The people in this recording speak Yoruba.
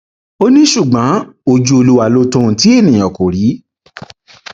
ó ní ṣùgbọn ojú olúwa ló tọ ohun tí èèyàn kò rí